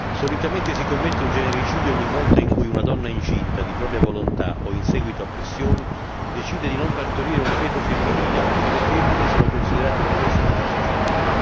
Solitamente si commette un genericidio ogni volta in cui una donna incinta, di propria volontà o in seguito a pressioni, decide di non partorire un feto femminile perché le femmine sono considerate un peso per la società.